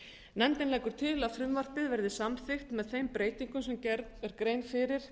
nefndin leggur til að frumvarpið verði samþykkt með þeim breytingum sem gerð er grein fyrir